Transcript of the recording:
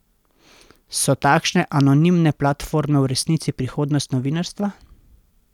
So takšne anonimne platforme v resnici prihodnost novinarstva?